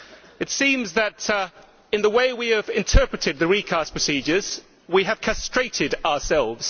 It seems that, in the way we have interpreted the recast procedures, we have castrated ourselves.